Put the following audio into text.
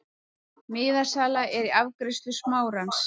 Miðasala er í afgreiðslu Smárans.